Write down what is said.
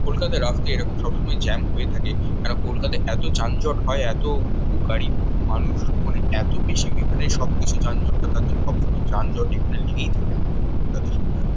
কলকাতায় রাস্তায় এরকম সবসময় জ্যাম হয়ে থাকে। সারা কলকাতায় এতো যানজট হয় এতো বহু গাড়ি বহু মানুষ মানে এতো বেশি এখানে সব কিছু যানজটটা তার জন্য সবসময় যানজট এখানে লেগেই থাকে আমাদের কলকাতায় সবসময়।